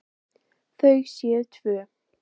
Þau séu tvö.